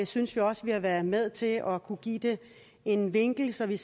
synes vi også vi har været med til at kunne give det en vinkel så vi